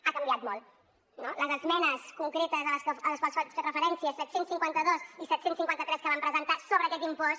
ha canviat molt no les esmenes concretes a les quals faig referència set cents i cinquanta dos i set cents i cinquanta tres que vam presentar sobre aquest impost